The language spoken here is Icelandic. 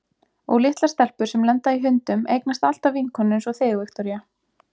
Og litlar stelpur sem lenda í hundum eignast alltaf vinkonur einsog þig, Viktoría.